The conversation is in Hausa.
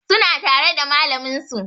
Suna tare da malamin su